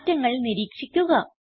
മാറ്റങ്ങൾ നിരീക്ഷിക്കുക